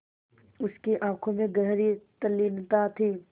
उसकी आँखों में गहरी तल्लीनता थी